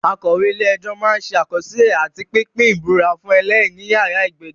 Akọ̀wé-ilé-ẹjọ́ máa ń ṣe àkọsílẹ̀ àti pínpín ìbúra fún ẹlẹ́rìí níyàrá ìgbẹ́jọ́.